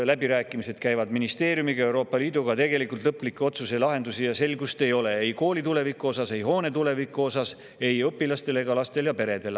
Läbirääkimised käivad ministeeriumiga, Euroopa Liiduga, aga lõplikke otsuseid, lahendusi ega selgust ei ole, ei kooli tuleviku osas, ei hoone tuleviku osas, ei õpilastel ega peredel.